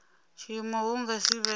tshiimo hu nga si vhe